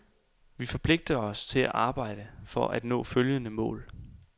Vi forpligter os til at arbejde for at nå følgende mål.